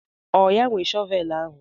Ọ ya nwe shọvelu ahụ?